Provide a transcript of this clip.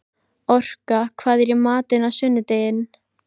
Orka, hvað er í matinn á sunnudaginn?